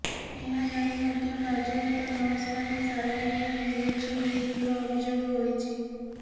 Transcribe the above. ଏହା ଜାଣି ମଧ୍ୟ କାର୍ଯ୍ୟରତ ନର୍ସମାନେ ସାଲାଇନ୍ ଓ ଇଞ୍ଜେକ୍ସନ୍ ଦେଇଥିବା ଅଭିଯୋଗ ହୋଇଛି